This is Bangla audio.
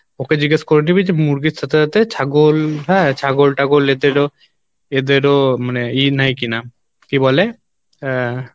ওকে জিজ্ঞেস করে নিবি যে মুরগির সাথে সাথে ছাগল হ্যাঁ? ছাগল টাগোল এদেরও এদেরও মানে ই নেই কিনা কী বলে আহ